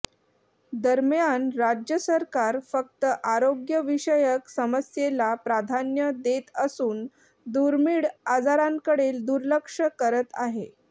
दरम्यान राज्य सरकार फक्त आरोग्यविषयक समस्येला प्राधान्य देत असून दुर्मीळ आजारांकडे दुर्लक्ष करत आहे